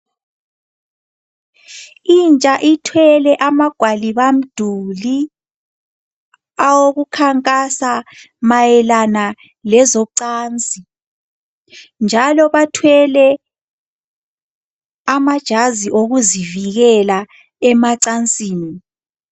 Intsha ithwele amagwalibamduli awokukhankasa mayelana lezocansi njalo bathwele amajazi okuzivikela emacansini.